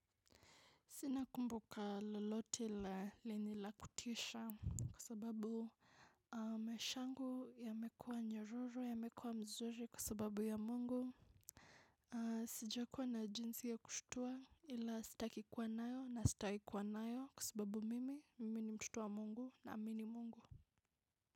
Sina kumbuka lolote la lenye la kutisha kwa sababu maisha yangu yamekuwa nyororo yamekuwa mzuri kwasababu ya Mungu. Sijakuwa na jinsi ya kushtua ila sitaki kuwa nayo na sitawahi kuwa nayo kwasababu mimi mimi ni mtoto waa Mungu naamini Mungu.